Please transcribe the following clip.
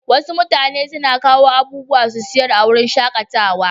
Wasu mutane na kawo abubuwa su sayar a wuraren shakatawa.